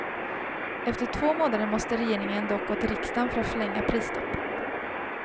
Efter två månader måste regeringen dock gå till riksdagen för att förlänga prisstoppet.